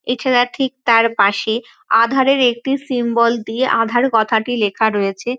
এছাড়া ঠিক তার পাশে আধারের একটি সিম্বল দিয়ে আধার কথাটি লেখা রয়েছে।